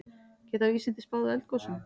Geta vísindin spáð eldgosum?